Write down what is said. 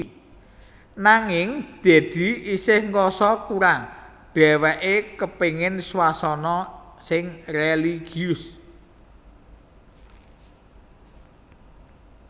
Nanging Dedy isih ngrasa kurang dheweké kepengen swasana sing religius